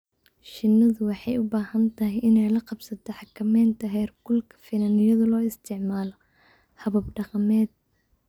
Shinnidu waxay u baahan tahay inay la qabsato xakamaynta heerkulka finan iyadoo la isticmaalayo habab dhaqameed.